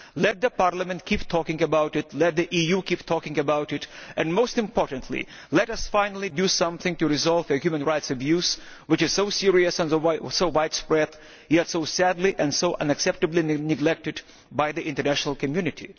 Let Parliament keep talking about it, let the EU keep talking about it and, most importantly, let us finally do something to resolve this human rights abuse which is so serious and so widespread yet so sadly and unacceptably neglected by the international community.